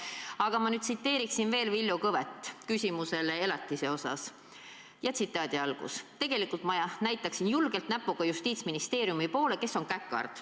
Aga ma tsiteeriksin veel Villu Kõve vastust küsimusele elatise kohta: "Tegelikult mina näitaksin julgelt näpuga Justiitsministeeriumi poole, kes on käkerd...